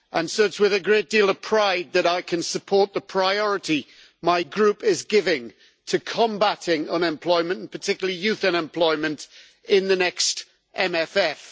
It is with a great deal of pride that I can support the priority my group is giving to combating unemployment, particularly youth unemployment, in the next MFF.